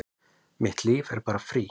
Mitt líf er bara frí